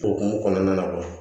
O hukumu kɔnɔna na